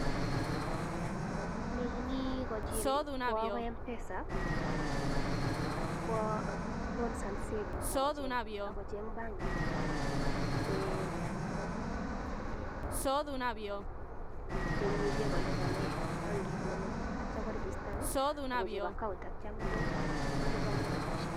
Alechin kwa akoi Mpesa akipkwa loans and savings akocheng banking nee imuchi kolipanee bengit nee meche atya koregistanee akochop account atya kolipanee rabishek